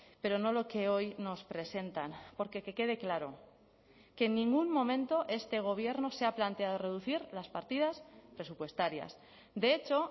pero no lo que hoy nos presentan porque que quede claro que en ningún momento este gobierno se ha planteado reducir las partidas presupuestarias de hecho